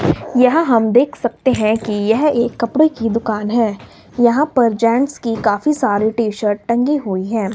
यह हम देख सकते हैं कि यह एक कपड़े की दुकान है यहां पर जेंट्स की काफी सारे टी-शर्ट टंगी हुई हैं।